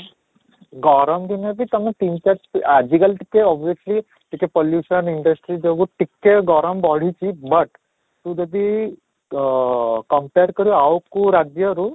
ଗରମ ଦିନରେ ବି ତୋମେ ତିନ ଚାର ଆଜି କାଲି ଟିକେ obviously ଟିକେ pollution industry ଯୋଗୁଁ ଟିକେ ଗରମ ବଢିଛି but ତୁ ଯଦି ଅଃ compare କର ଆଉ କୋଉ ରାଜ୍ୟରୁ